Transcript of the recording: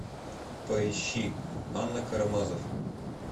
поищи анна карамазофф